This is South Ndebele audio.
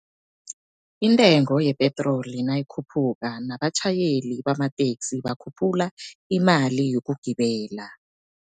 Intengo yepetroli nayikhuphuka nabatjhayeli bamateksi bakhuphula imali yokugibela.